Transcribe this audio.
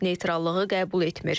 Neytrallığı qəbul etmir.